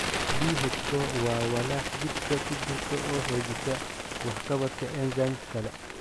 BH4 waa walax jidhka ku jirta oo xoojisa waxqabadka enzymes kale.